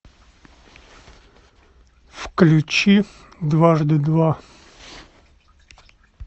включи дважды два